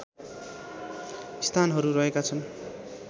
स्थानहरू रहेका छन्